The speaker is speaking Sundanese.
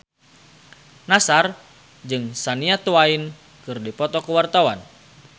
Nassar jeung Shania Twain keur dipoto ku wartawan